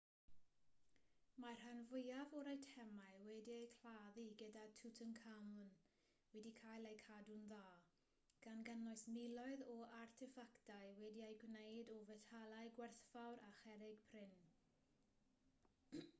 mae'r rhan fwyaf o'r eitemau wedi'u claddu gyda tutankhamun wedi cael eu cadw'n dda gan gynnwys miloedd o arteffactau wedi eu gwneud o fetalau gwerthfawr a cherrig prin